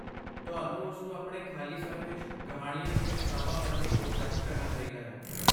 ਤੁਹਾਨੂੰ ਉਸ ਨੂੰ ਆਪਣੇ ਖਾਲੀ ਸਮੇਂ ਵਿੱਚ ਕਹਾਣੀਆਂ ਦੀਆਂ ਕਿਤਾਬਾਂ ਪੜ੍ਹਨ ਲਈ ਉਤਸ਼ਾਹਿਤ ਕਰਨਾ ਚਾਹੀਦਾ ਹੈ।